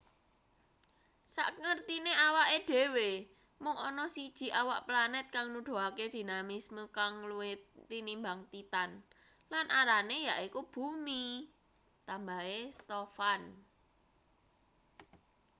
sakngertine awake dhewe mung ana siji awak planet kang nuduhake dinamisme kang luwih tinimbang titan lan arane yaiku bumi tambahe stofan